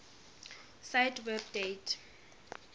cite web date